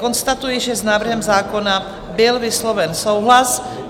Konstatuji, že s návrhem zákona byl vysloven souhlas.